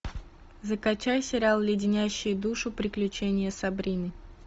закачай сериал леденящие душу приключения сабрины